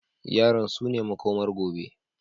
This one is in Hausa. Yaran sune makomar gobe.